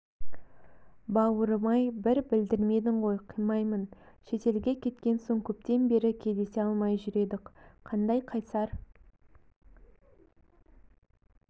бауырым-ай бір білдірмедің ғой қимаймын шетелге кеткен соң көптен бері кездесе алмай жүр едік қандай қайсар